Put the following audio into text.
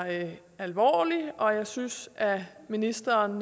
alvorlig og jeg synes at ministeren